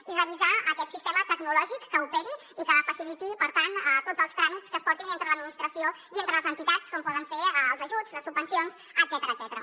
i revisar aquest sistema tecnològic que operi i que faciliti per tant tots els tràmits que es portin entre l’administració i entre les entitats com poden ser els ajuts les subvencions etcètera